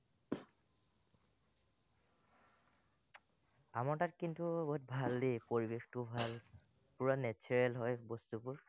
আমাৰ তাত কিন্তু বহুত ভাল দেই, পৰিবেশটোও ভাল, পুৰা natural হয়, বস্তুবোৰ।